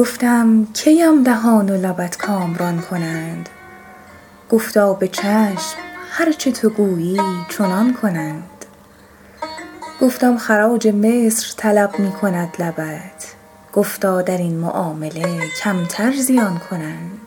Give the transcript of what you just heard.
گفتم کی ام دهان و لبت کامران کنند گفتا به چشم هر چه تو گویی چنان کنند گفتم خراج مصر طلب می کند لبت گفتا در این معامله کمتر زیان کنند